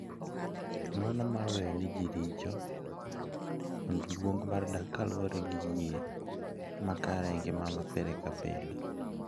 Ng’wono mar weyo ne ji richo, kod luong mar dak kaluwore gi yie mare e ngima mar pile ka pile.